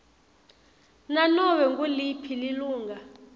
nanobe nguliphi lilunga